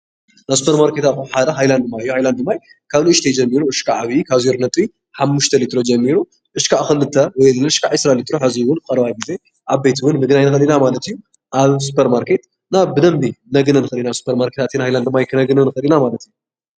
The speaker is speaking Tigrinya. ናይ ስፖርማርኬት ኣቑሑት ሓደ ሃላድ ማይ እዩ። ሃይላንድ ማይ ካብ ንእሽተይ ጀሚሩ ክሳብ ዓብዩ ካብ 0.5 ሊትሮ ጀሚሩ ክሻዕ ክልተ ወይ ድማ ክሻዕ 20 ሊትሮ እውን ኣብ ቀረባ ግዜ ዓብይቲ ምግናይ ንክእል ኢና ማለት እዩ። ኣብ ስፖርማርኬት እና ብደንቢ ክነግንዮ ንክእል ኢና ስፖርማርኬት ኣትና ሃይላድ ማይ ክነግኒ ንክእል ኢና ማለት እዩ።